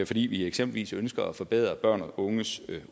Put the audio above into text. fordi vi eksempelvis ønsker at forbedre børns og unges